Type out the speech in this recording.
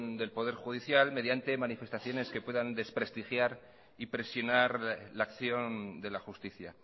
del poder judicial mediante manifestaciones que puedan desprestigiar y presionar la acción de la justicia